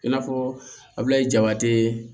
I n'a fɔ abulayi jabate